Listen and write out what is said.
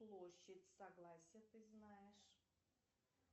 площадь согласия ты знаешь